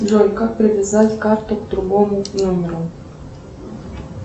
джой как привязать карту к другому номеру